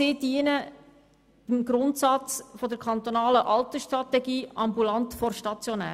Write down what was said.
Auch dienen sie dem Grundsatz der kantonalen Altersstrategie «ambulant vor stationär».